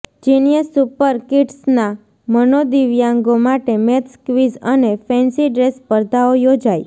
genius super કિડસનાં મનોદિવ્યાંગો માટે મેથ્સ ક્વિઝ અને ફેન્સી ડ્રેસ સ્પર્ધાઓ યોજાઇ